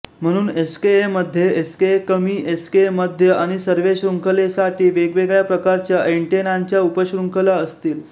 म्हणून एसकेए मध्ये एसकेएकमी एसकेएमध्य आणि सर्व्हे शृंखलेसाठी वेगवेगळ्या प्रकारच्या अँटेनांच्या उपशृंखला असतील